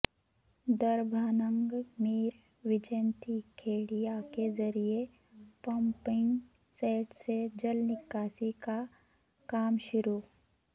Darbhanga mayor Vaijanti Khedia کے ذریعے pumping set سے جل نکاسی کا کام شروع